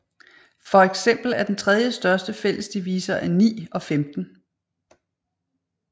For eksempel er den 3 den største fælles divisor af 9 og 15